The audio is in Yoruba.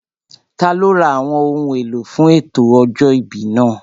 Taló ra àwọn ohun èlò fún ètò ọjọ́ ìbí náà?